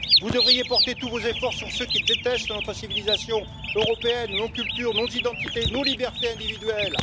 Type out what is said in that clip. Vous devriez porter tous vos efforts sur ceux qui détestent notre civilisation européenne, nos cultures, nos identités, nos libertés individuelles.